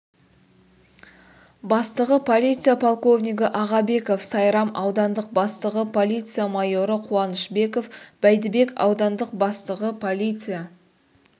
бастығы полиция полковнигі ағабеков сайрам аудандық бастығы полиция майоры қуанышбеков бәйдібек аудандық бастығы полиция